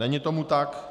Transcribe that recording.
Není tomu tak.